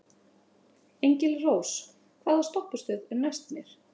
Engilrós, hvaða stoppistöð er næst mér?